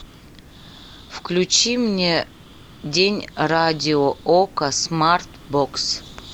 включи мне день радио окко смарт бокс